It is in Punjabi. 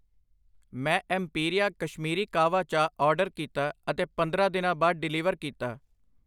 ਮੈਂ ਐਮਪੀਰੀਆ ਕਸ਼ਮੀਰੀ ਕਾਹਵਾ ਚਾਹ ਆਰਡਰ ਕੀਤਾ ਅਤੇ ਪੰਦਰਾਂ ਦਿਨਾਂ ਬਾਅਦ ਡਿਲੀਵਰ ਕੀਤਾ।